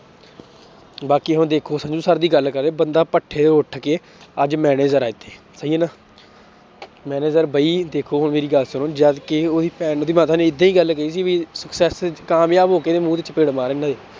ਬਾਕੀ ਹੁਣ ਦੇਖੋ ਸੰਜੂ ਸਰ ਦੀ ਗੱਲ ਕਰੇ ਬੰਦਾ ਭੱਠੇ ਤੋਂ ਉੱਠ ਕੇ ਅੱਜ manager ਆ ਇੱਥੇ ਸਹੀ ਹੈ ਨਾ manager ਬਈ ਦੇਖੋ ਮੇਰੀ ਗੱਲ ਸੁਣੋ ਜਦਕਿ ਉਹਦੀ ਏਦਾਂ ਹੀ ਗੱਲ ਕਹੀ ਸੀ ਵੀ ਕਾਮਯਾਬ ਹੋ ਕੇ ਮੂੰਹ ਤੇ ਚਪੇੜ